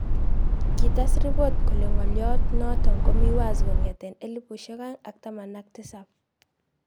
Kites ripot kole ng'olyot notok komii wazi kong'etee 2017